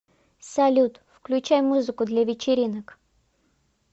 салют включай музыку для вечеринок